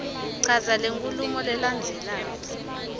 chaza lenkhulumo lelandzelako